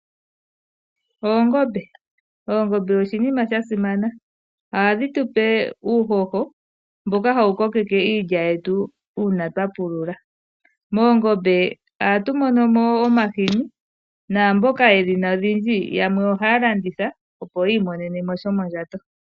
Oongombe, oongombe oshinima sha simana. Ohadhi tupe uuhoho mboka hawu kokeke iilya yetu una twa pulula. Moongombe ohatu monomo wo omahini, naamboka yedhina odhindji yamwe ohaya landitha opo yi imonene mo shomondjato.